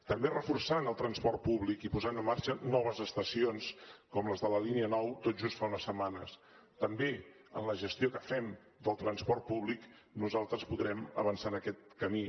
també reforçant el transport públic i posant en marxa noves estacions com les de la línia nou tot just fa unes setmanes també amb la gestió que fem del transport públic nosaltres podrem avançar en aquest camí